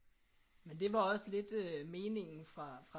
Men det var også lidt øh meningen fra